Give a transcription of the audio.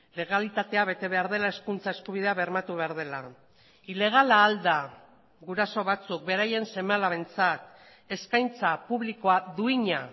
legalitatea bete behar dela hezkuntza eskubidea bermatu behar dela ilegala ahal da guraso batzuk beraien seme alabentzat eskaintza publikoa duina